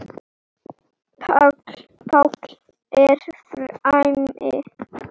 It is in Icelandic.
Páll er frammi.